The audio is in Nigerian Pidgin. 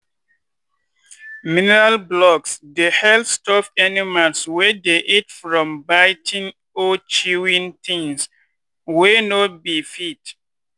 mineral blocks dey help stop animals wey dey eat from biting or chewing things wey no be feed.